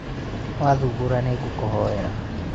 wathubũra nĩngũkũhoera